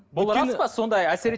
бұл рас па сондай